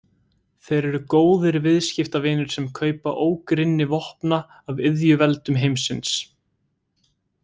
Þeir eru góðir viðskiptavinir sem kaupa ógrynni vopna af iðjuveldum heimsins.